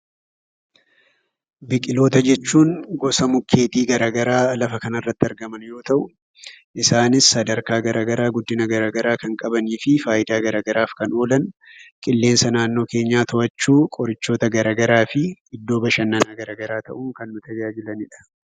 Biqiltoota jechuun gosa mukeetii gara garaa lafa kana irratti argaman yoo ta'u, isaanis sadarkaa fi guddina garaa garaa kan qabanii fi faayidaa garaa garaaf kan oolan; qilleensa naannoo keenyaa to'achuu, qorichaaf ta'uu, iddoo bashannanaa ta'uun tajaajilanidha.